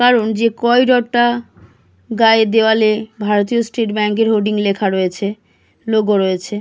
কারণ যে করিডোরটা গায়ে দেওয়ালে ভারতীয় স্টেট ব্যাঙ্ক হোডিং লেখা রয়েছে। লোগো রয়েছে।